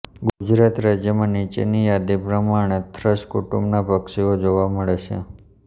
ગુજરાત રાજ્યમાં નિચેનીં યાદી પ્રમાણેના થ્રશ કુટુંબનાં પક્ષીઓ જોવા મળે છે